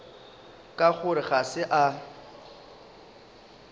ka gore ga se a